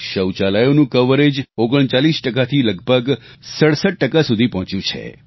શૌચાલયોનું coverage 39 થી લગભગ 67 સુધી પહોંચ્યું છે